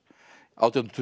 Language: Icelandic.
nítján hundruð